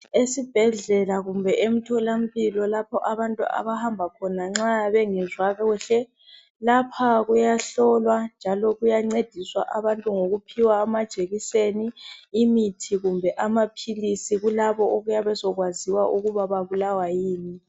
Esibhedlela kumbe emtholampilo lapho abantu abahamba khona nxa bengezwa kuhle, lapha kuyahlolwa njalo kuyancediswa abantu ngokuphiwa amajekiseni imithi kumbe amaphilisi kulabo okuyabe sekwaziwa ukuba babulawa yini.